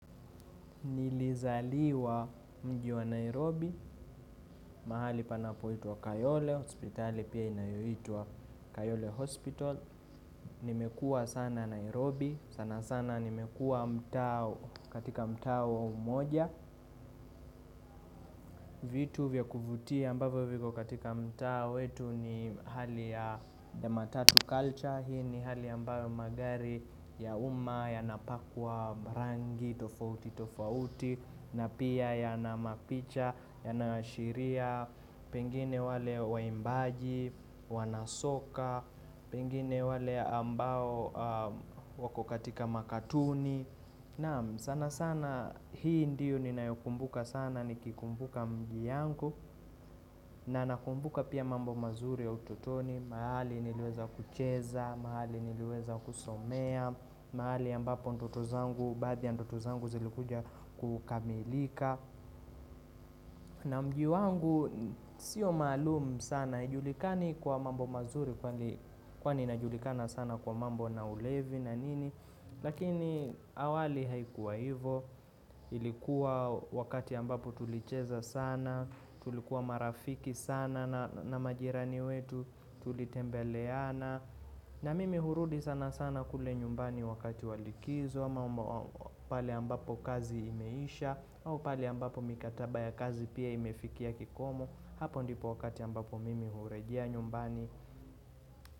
Nilizaliwa mji wa Nairobi, mahali panapo itwa Kayole hospitali, nimekua sana Nairobi, sana sana nimekua mtaa katika mtaa wa umoja. Vitu vya kuvutia ambavyo viko katika mtaa wetu ni hali ya matatu culture Hii ni hali ambapo magari ya uma, yanapakwa rangi, tofauti, tofauti na pia ya na mapicha, yanayoashiria Pengine wale waimbaji, wanasoka Pengine wale ambao wako katika makatuni Naam sana sana hii ndiyo ninayokumbuka sana nikikumbuka mji yangu na nakumbuka pia mambo mazuri ya ututoni, mahali niliweza kucheza, mahali niliweza kusomea, mahali ambapo ndoto zangu, badaa ya ndoto zangu zilikuja kukamilika. Na mji wangu sio maluumu sana, haijulikani kwa mambo mazuri kwani inajulikana sana kwa mambo na ulevi na nini Lakini awali haikuwa hivo, ilikuwa wakati ambapo tulicheza sana, tulikuwa marafiki sana na majirani wetu tulitembeleana na mimi hurudi sana sana kule nyumbani wakati wa likizo ama pale ambapo kazi imeisha au pale ambapo mikataba ya kazi pia imefikia kikomo Hapo ndipo wakati ambapo mimi hurejea nyumbani.